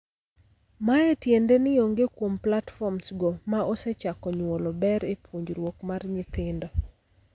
Mae tiende ni onge kuom platforms go ma osechako nyuolo ber e puonjruok mar nyithindo.